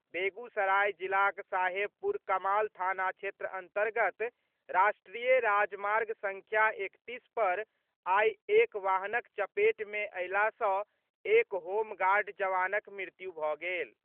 बेगूसराय जिलाक साहेबपुर कमाल थाना क्षेत्र अन्तर्गत राष्ट्रीय राजमार्ग संख्या एकतीस पर आइ एक वाहनक चपेट मे अयला सँ एक होमगार्ड जवानक मृत्यु भऽ गेल।